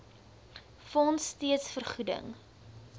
fonds steeds vergoeding